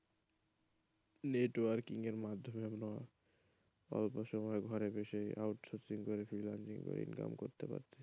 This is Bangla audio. networking এর মাধ্যমে আমরা অল্প সময়ে ঘরে বসে out sourcing করে, freelancing করে income করতে পারছি,